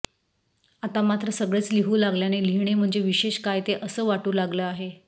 आता मात्र सगळेच लिहू लागल्याने लिहीणे म्हणजे विशेष काय ते असं वाटू लागलं आहे